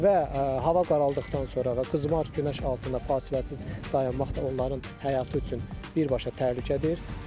Və hava qaraldıqdan sonra və qızmar günəş altında fasiləsiz dayanmaq da onların həyatı üçün birbaşa təhlükədir.